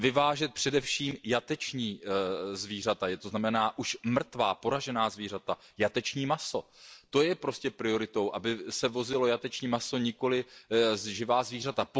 Vyvážet především jateční zvířata, to znamená už mrtvá, poražená zvířata, jateční maso, to je prioritou, aby se vozilo jateční maso, nikoliv živá zvířata.